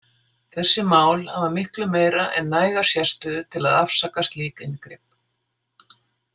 Þessi mál hafa miklu meira en næga sérstöðu til að afsaka slíkt inngrip.